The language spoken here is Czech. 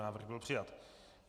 Návrh byl přijat.